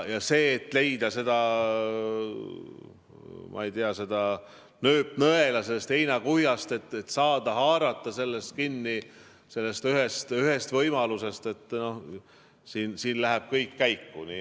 Ja selleks, et leida, ma ei tea, nööpnõela sellest heinakuhjast, et saada haarata kinni sellest ühest võimalusest, läheb kõik käiku.